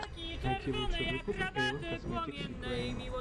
найти лучший выпуск эйвон косметикс юкрэин